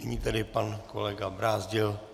Nyní tedy pan kolega Brázdil.